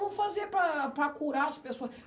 Como é que eu vou fazer para para curar as pessoa?